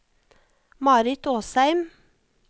Marit Åsheim